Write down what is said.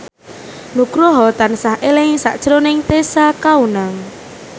Nugroho tansah eling sakjroning Tessa Kaunang